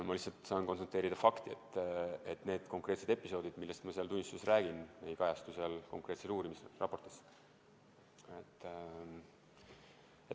Ma lihtsalt saan konstateerida fakti, et need konkreetsed episoodid, millest ma seal tunnistuses räägin, ei kajastu seal uurimisraportis.